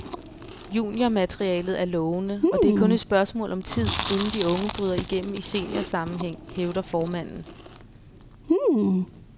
Juniormaterialet er lovende, og det er kun et spørgsmål om tid, inden de unge bryder igennem i seniorsammenhæng, hævder formanden.